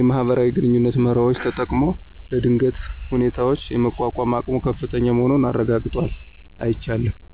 የማህበራዊ ግንኙነት መርሆዎችን ተጠቅሞ ለድንገተኛ ሁኔታዎች የመቋቋም አቅሙ ከፍተኛ መሆኑን አረጋግጧል። አይቻለሁም።